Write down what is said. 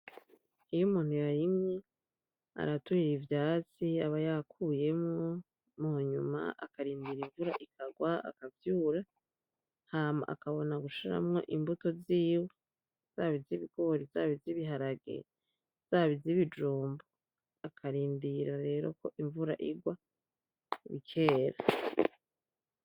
Iyo umuntu yarimye, araturira ivyatsi aba yakuyemwo, munyuma akarindira imvura ikagwa akavyura, hama akabona gushiramwo imbuto ziwe, zaba iz'ibigori, zaba iz'ibiharage, zaba iz'ibijumbu, akarindira rero ko imvura igwa bikera.